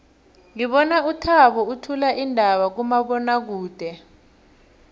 ngibona uthabo uthula iindaba kumabonwakude